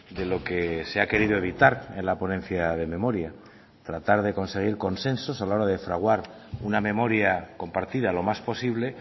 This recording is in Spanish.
de lo que se ha querido evitar en la ponencia de memoria tratar de conseguir consensos a la hora de fraguar una memoria compartida lo más posible